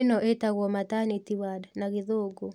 Ĩno ĩtagwo maternity ward na gĩthũngũ